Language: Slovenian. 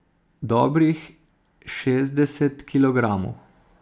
Dobrih šestdeset kilogramov.